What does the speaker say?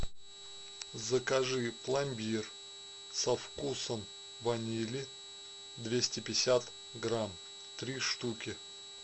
закажи пломбир со вкусом ванили двести пятьдесят грамм три штуки